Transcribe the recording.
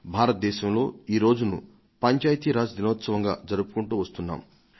భారతదేశంలో ఈరోజును పంచాయతీ రాజ్ దినంగా జరుపుకొంటున్నాం